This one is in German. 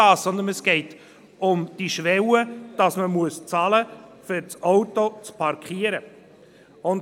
Es geht um die Schwelle, dass man bezahlen muss, um das Auto parkieren zu können.